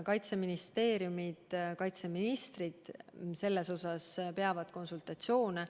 Kaitseministeeriumid, kaitseministrid peavad sel teemal konsultatsioone.